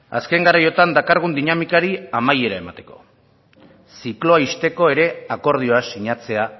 azken garaiotan dakargun dinamikari amaiera emateko zikloa ixteko ere akordioa sinatzea